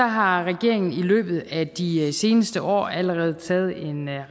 har regeringen i løbet af de seneste år allerede taget en